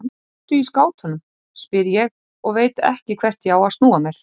Ertu í skátunum, spyr ég og veit ekki hvert ég á að snúa mér.